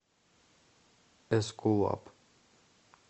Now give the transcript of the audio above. эскулап